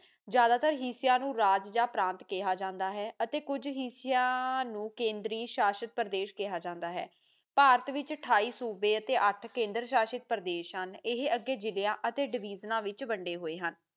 ਜ਼ਿਆਦਾਤਰ ਹਿਸਿਆਂ ਨੂੰ ਰਾਜ ਯਾ ਪਰਾਂਤ ਕਿਆ ਜਾਂਦਾ ਹੈ ਅਤੇ ਕੁਜ ਹਿਸਿਆ ਨੂੰ ਕੇਂਦਰ ਸ਼ਾਸਤਰੀ ਪਰਦੇਸਾਂ ਕਿਆ ਜਾਂਦਾ ਹੈ ਭਾਰਤ ਵਿਚ ਅਠਾਈ ਸੂਬੇ ਅਤੇ ਅੱਠ ਕੇਂਦਰ ਸ਼ਾਸ਼ਿਤ ਪਰਦੇ ਹਨ ਇਹ ਅੱਗੇ ਜਿਲਿਆਂ ਅਤੇ ਡਿਵੀਜ਼ਨਾਂ ਵਿੱਚ ਵਡੇ ਹੋਏ ਹਨ